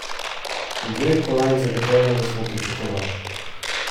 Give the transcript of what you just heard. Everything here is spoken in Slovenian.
Dveh kolajn zagotovo nismo pričakovali.